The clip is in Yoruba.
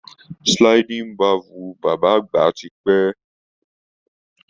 Sliding bevel bàbá àgbà ti pẹ́.